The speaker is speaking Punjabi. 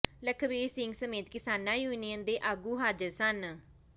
ਲਖਵੀਰ ਸਿੰਘ ਸਮੇਤ ਕਿਸਾਨਾਂ ਯੂਨੀਅਨ ਦੇ ਆਗੂ ਹਾਜ਼ਰ ਸਨ